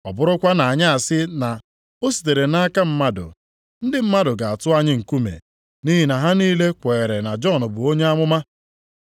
Ọ bụrụkwanụ na anyị asị na, ‘o sitere nʼaka mmadụ,’ ndị mmadụ ga-atụ anyị nkume, nʼihi na ha niile kweere na Jọn bụ onye amụma.”